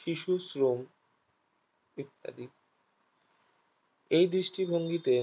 শিশুশ্রম ইত্যাদি এই দৃষ্টিভঙ্গি তে